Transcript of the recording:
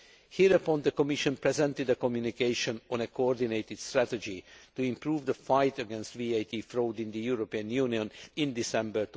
Hereupon the Commission presented a communication on a coordinated strategy to improve the fight against VAT fraud in the European Union in December